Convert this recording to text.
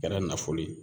Kɛra nafolo ye